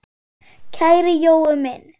Kæri Jói minn.